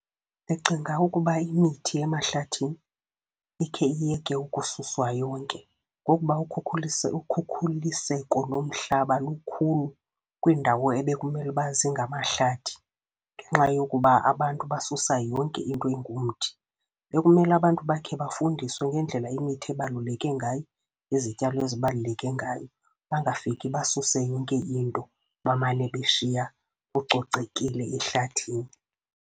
Ndicinga ukuba imithi emahlathini ikhe iyeke ukususwa yonke, ngokuba ukhukhulise, ukhukhuliseko lomhlaba lukhulu kwiindawo ebekumele ukuba zingamahlathi, ngenxa yokuba abantu basusa yonke into engumthi. Bekumele abantu bakhe bafundiswe ngendlela imithi ebaluleke ngayo, izityalo ezibaluleke ngayo. Bangafiki basuse yonke into, bamane beshiya kucocekile ehlathini.